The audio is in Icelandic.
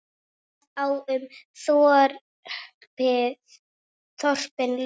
Það á um þorpin líka.